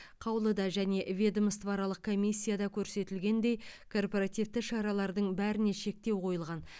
қаулыда және ведомствоаралық комиссияда көрсетілгендей корпоративті шаралардың бәріне шектеу қойылған